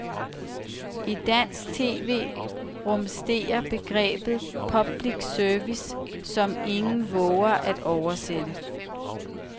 I dansk tv rumsterer begrebet public service, som ingen vover at oversætte.